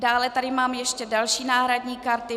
Dále tady mám ještě další náhradní karty.